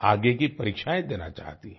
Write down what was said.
आगे की परीक्षाएं देना चाहती हैं